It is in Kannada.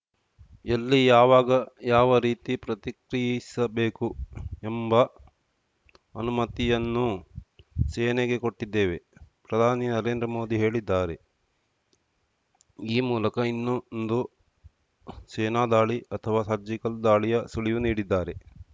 ಎಲ್ಲಿ ಯಾವಾಗ ಯಾವ ರೀತಿ ಪ್ರತಿಕ್ರಿಯಿಸಬೇಕು ಎಂಬ ಅನುಮತಿಯನ್ನೂ ಸೇನೆಗೆ ಕೊಟ್ಟಿದ್ದೇವೆ ಪ್ರಧಾನಿ ನರೇಂದ್ರ ಮೋದಿ ಹೇಳಿದ್ದಾರೆ ಈ ಮೂಲಕ ಇನ್ನೊಂದು ಸೇನಾ ದಾಳಿ ಅಥವಾ ಸರ್ಜಿಕಲ್‌ ದಾಳಿಯ ಸುಳಿವು ನೀಡಿದ್ದಾರೆ